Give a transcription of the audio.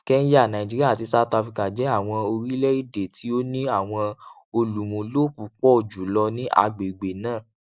kenya nigeria àti south africa jẹ àwọn orilẹède tí o ni àwọn olùmúlò púpọ jùlọ ní agbègbè náà